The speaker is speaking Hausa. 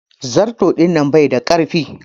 Zarto dinnan bai da ƙaifi.